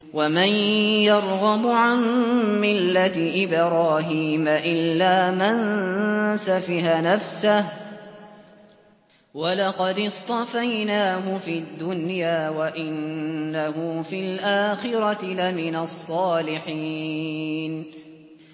وَمَن يَرْغَبُ عَن مِّلَّةِ إِبْرَاهِيمَ إِلَّا مَن سَفِهَ نَفْسَهُ ۚ وَلَقَدِ اصْطَفَيْنَاهُ فِي الدُّنْيَا ۖ وَإِنَّهُ فِي الْآخِرَةِ لَمِنَ الصَّالِحِينَ